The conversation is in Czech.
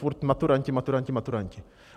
Furt maturanti, maturanti, maturanti.